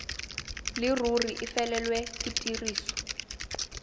leruri e felelwe ke tiriso